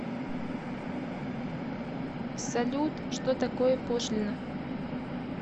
салют что такое пошлина